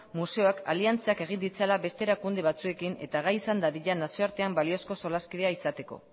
museoak aliantzak egin ditzala beste erakunde batzuekin eta gai izan dadila nazioartean baliozko solaskidea izateko